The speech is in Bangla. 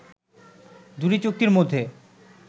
দুটি চুক্তির মধ্যে